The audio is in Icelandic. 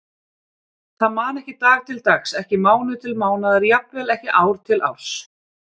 Það man ekki dag til dags, ekki mánuð til mánaðar, jafnvel ekki ár til árs.